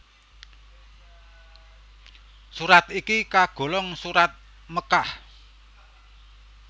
Surat iki kagolong Surat Mekkah